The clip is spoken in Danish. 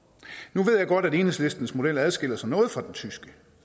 nu ved jeg godt at enhedslistens model adskiller sig noget fra den tyske